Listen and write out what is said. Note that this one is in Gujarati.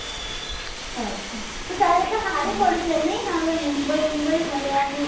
તો તારે તો સારું પડશે ને હવે મુંબઈ મુંબઈ ફરવાનું